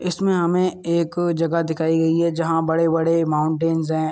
इसमें हमें एक जगह दिखाई गई है जहां बड़े बड़े माउंटेंस हैं।